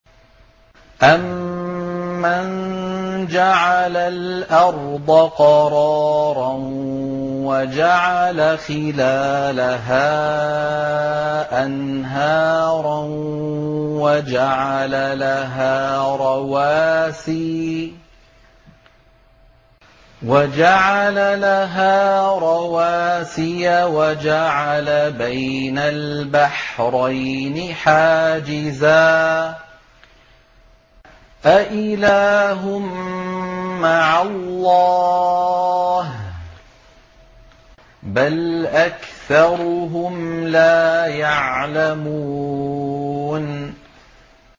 أَمَّن جَعَلَ الْأَرْضَ قَرَارًا وَجَعَلَ خِلَالَهَا أَنْهَارًا وَجَعَلَ لَهَا رَوَاسِيَ وَجَعَلَ بَيْنَ الْبَحْرَيْنِ حَاجِزًا ۗ أَإِلَٰهٌ مَّعَ اللَّهِ ۚ بَلْ أَكْثَرُهُمْ لَا يَعْلَمُونَ